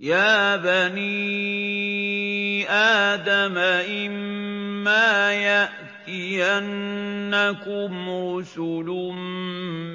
يَا بَنِي آدَمَ إِمَّا يَأْتِيَنَّكُمْ رُسُلٌ